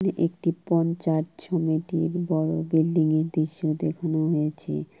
একটি পঞ্চায়েত সমিতির বড় বিল্ডিং -এর দৃশ্য দেখানো হয়েছে।